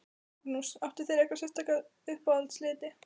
Magnús: Áttu þér einhverja sérstaka uppáhalds liti?